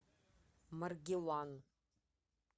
маргилан